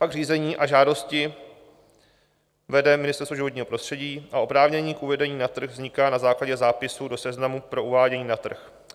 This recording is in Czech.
Pak řízení o žádosti vede Ministerstvo životního prostředí a oprávnění k uvedení na trh vzniká na základě zápisu do Seznamu pro uvádění na trh.